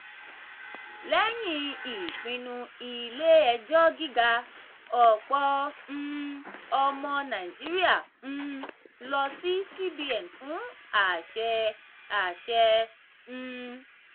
lẹ́yìn ìpinnu ilé-ẹjọ́ gíga ọ̀pọ̀ um ọmọ nàìjíríà um lọ sí cbn fún àṣẹ. àṣẹ. um